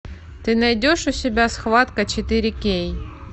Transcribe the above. ты найдешь у себя схватка четыре кей